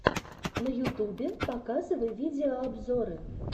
на ютубе показывай видеообзоры